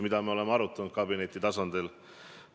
Ja me oleme seda kabineti tasandil arutanud.